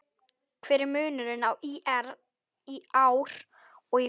Hver er munurinn á ÍR í ár og í fyrra?